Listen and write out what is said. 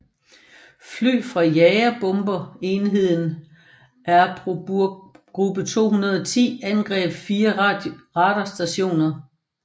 Fly fra jagerbomber enheden Erprobungsgruppe 210 angreb fire radarstationer